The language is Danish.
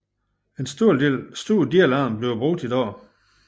En stor del af dem bliver brugt i dag